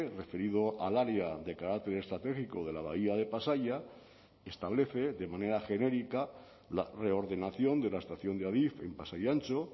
referido al área de carácter estratégico de la bahía de pasaia establece de manera genérica la reordenación de la estación de adif en pasai antxo